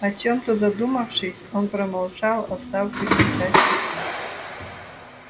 о чем-то задумавшись он промолчал оставшуюся часть пути